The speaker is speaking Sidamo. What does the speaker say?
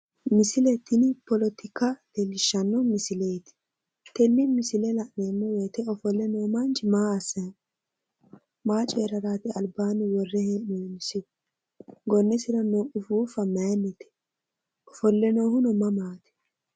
Misile tini politika leellishshanno misileeti, tenne misile la'neemmo woyte ofolle no manchi maa assay no?maa coyraraati albaanni worre hee'nonnisihu? gonnesira noo ufuuffa mayinnite? Ofolle noohuno mamaati?